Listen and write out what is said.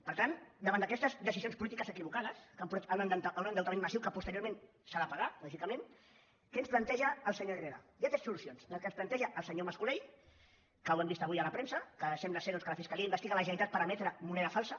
per tant davant d’aquestes decisions polítiques equivocades que han portat a un endeutament massiu que posteriorment s’ha de pagar lògicament què ens planteja el senyor herrera hi ha tres solucions la que ens planteja el senyor mas colell que ho hem vist avui a la premsa que sembla que la fiscalia investiga la generalitat per emetre moneda falsa